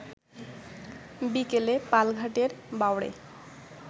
বিকেলে পালঘাটের বাঁওড়ে